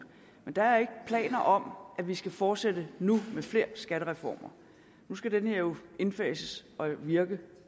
men der er ikke planer om at vi skal fortsætte nu med flere skattereformer nu skal den her jo indfases og virke